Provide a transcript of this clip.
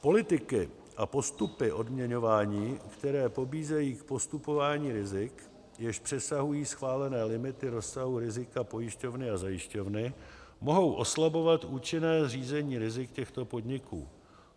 Politiky a postupy odměňování, které pobízejí k podstupování rizik, jež přesahují schválené limity rozsahu rizika pojišťovny a zajišťovny, mohou oslabovat účinné řízení rizik těchto podniků.